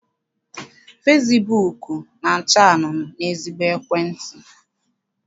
Fesibuuku na-acha anunuu n'ezigbo ekwentị.